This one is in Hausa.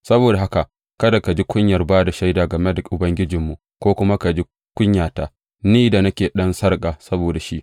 Saboda haka kada ka ji kunyar ba da shaida game da Ubangijinmu, ko kuwa ka ji kunyata, ni da nake ɗan sarƙa saboda shi.